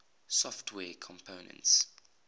software components